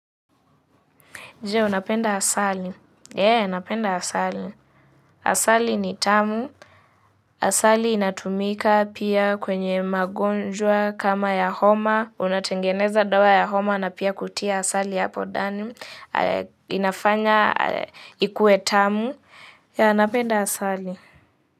Je, unapenda asali. Ee, napenda asali. Asali ni tamu. Asali inatumika pia kwenye magonjwa kama ya homa. Unatengeneza dawa ya homa na pia kutia asali hapo dani. Inafanya ikuwe tamu yeah napenda asali.